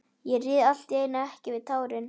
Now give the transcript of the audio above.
Ég réð allt í einu ekki við tárin.